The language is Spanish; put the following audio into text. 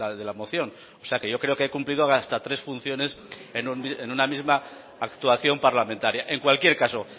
de la moción o sea que yo creo que he cumplido hasta tres funciones en una misma actuación parlamentaria en cualquier caso